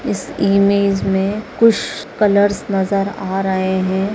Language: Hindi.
इस इमेज में कुश कलर्स नजर आ रहे हैं।